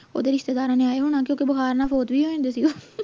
ਓਹਦੇ ਰਿਸ਼ਤੇਦਾਰਾਂ ਨੂੰ ਆਏਂ ਹੋਣਾ ਕਿਓਂਕਿ ਬੁਖਾਰ ਨਾਲ ਵੀ ਹੋ ਜਾਂਦਾ ਸੀ ਗਾ